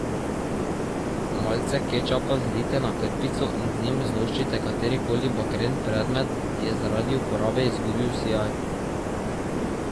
Malce kečapa zlijte na krpico in z njim zloščite kateri koli bakren predmet, ki je zaradi uporabe izgubil sijaj.